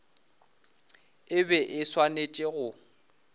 e be e swanetše go